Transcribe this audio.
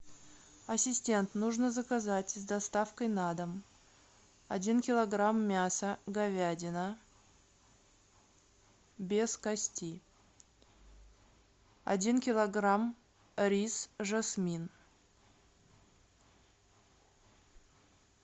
ассистент нужно заказать с доставкой на дом один килограмм мяса говядина без кости один килограмм рис жасмин